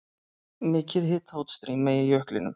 Mikið hitaútstreymi í jöklinum